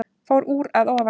Fór úr að ofan